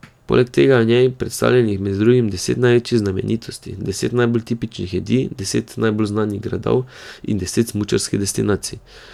Poleg tega je v njej predstavljenih med drugim deset največjih znamenitosti, deset najbolj tipičnih jedi, deset najbolj znanih gradov in deset smučarskih destinacij.